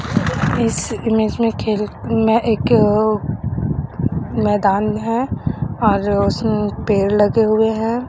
इस इमेज में खेल में एक मैदान है और उस पेड़ लगे हुए हैं।